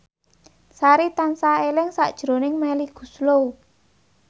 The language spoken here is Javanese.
Sari tansah eling sakjroning Melly Goeslaw